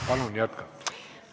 Palun jätkata!